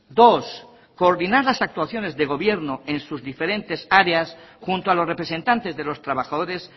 dos coordinar las actuaciones de gobierno en sus diferentes áreas junto a los representantes de los trabajadores